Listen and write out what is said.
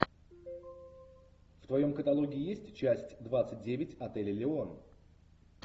в твоем каталоге есть часть двадцать девять отель элеон